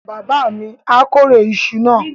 Bàbá mi á kórè iṣu náà.